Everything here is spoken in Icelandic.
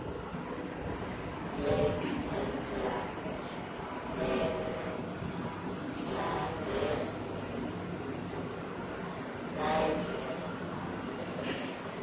Ég er glaður, þeir eru glaðir, þær eru glaðar.